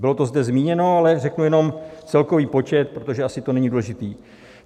Bylo to zde zmíněno, ale řeknu jenom celkový počet, protože asi to není důležité.